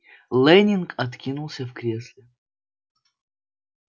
лэннинг откинулся в кресле